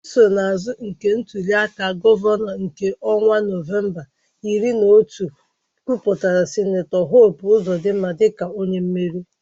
Nsonaazụ nke ntuli aka gọvanọ nke ọnwa Nọvemba iri na otu kwupụtara Sen Hope Ozodinma dịka onye meriri.